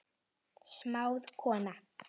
Smáð kona